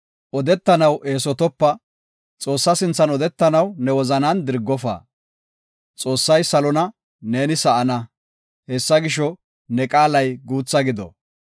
Odetanaw eesotopa; Xoossa sinthan odetanaw ne wozanan dirgofa. Xoossay salona, neeni sa7ana; hessa gisho, ne qaalay guutha gido.